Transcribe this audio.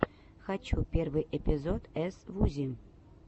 хочу первый эпизод эс вузи